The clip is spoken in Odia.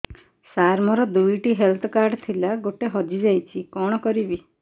ସାର ମୋର ଦୁଇ ଟି ହେଲ୍ଥ କାର୍ଡ ଥିଲା ଗୋଟେ ହଜିଯାଇଛି କଣ କରିବି